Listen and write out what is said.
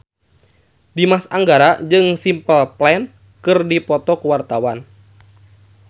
Dimas Anggara jeung Simple Plan keur dipoto ku wartawan